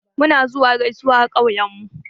Muna zuwa gaisawa a ƙauyen mu.